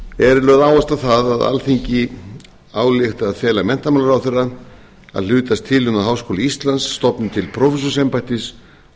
er lögð áhersla á það að alþingi álykti að fela menntamálaráðherra að hlutast til um það við háskóli íslands stofni til prófessorsembættis á